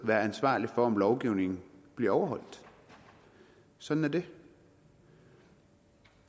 være ansvarlige for om lovgivningen bliver overholdt sådan er det